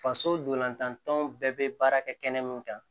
Faso dolantantanw bɛɛ bɛ baara kɛ kɛnɛ min kan